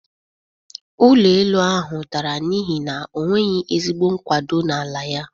Ụlọ elu ahụ dara n'ihi na onweghi ezigbo nkwado na ala ya.